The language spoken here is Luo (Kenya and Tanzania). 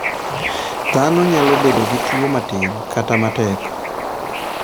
Dhano nyalo bedo gi tuwo matin, kata matek.